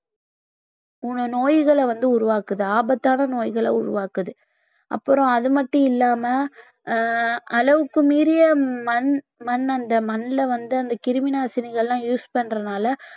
நோய்களை வந்து உருவாக்குது ஆபத்தான நோய்களை உருவாக்குது அப்புறம் அது மட்டும் இல்லாம ஆஹ் அளவுக்கு மீறிய மண் மண் அந்த மண்ணில வந்து அந்த கிருமி நாசினிகள் எல்லாம் use பண்றதுனால